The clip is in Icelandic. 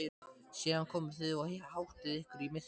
Síðan komið þið og háttið ykkur í myrkrinu.